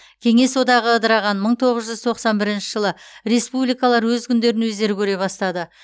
кеңес одағы ыдыраған мың тоғыз жүз тоқсан бірінші жылы республикалар өз күндерін өздері көре бастады